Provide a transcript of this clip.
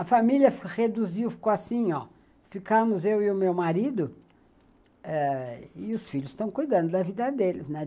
A família reduziu, ficou assim ó, ficamos eu e o meu marido e os filhos estão cuidando da vida deles, né?